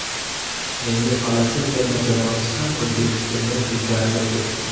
Endi Falastin terma jamoasi ham O‘zbekistondan ilgarilab ketdi.